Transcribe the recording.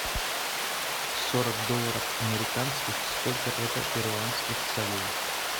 сорок долларов американских сколько это перуанских солей